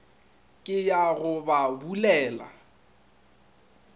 ke ye go ba bulela